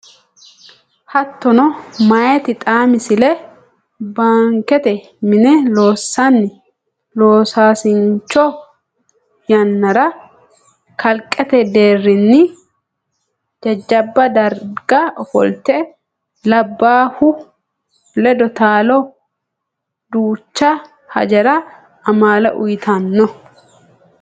Hattono meyati xaa Misile Baankete mine loossanni loosaasincho yannara kalqete deerrinni jajjabba darga ofolte labbaahu ledo taalo duucha hajara amaale uytanno.